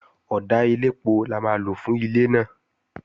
Ọ̀dà elépo la máa lò fún ilé náà